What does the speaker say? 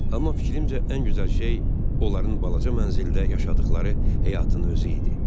Amma fikrimcə ən gözəl şey onların balaca mənzildə yaşadıqları həyatın özü idi.